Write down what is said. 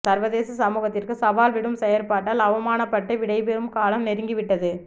சர்வதேச சமூகத்திற்கு சவால் விடும் செயற்பாட்டால் அவமானப்பட்டு விடைபெறும் காலம் நெருங்கி விட்டது